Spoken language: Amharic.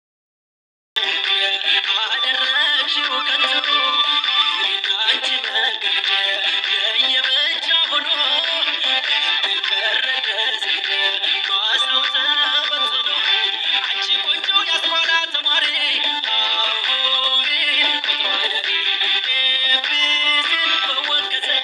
አደረገችው ከተቀመጡ እንቃችሁ ቀረችው የበጃውን እንቀረገዝ በሀሰብ ተበትሎ። አንቺ ቆንጆ ያስቆራ ተማሪ አሁን ቁጥሯን እኔ በወቅት